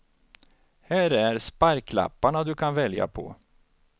Här är sparklapparna du kan välja på.